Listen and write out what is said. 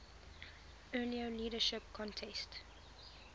earlier leadership contest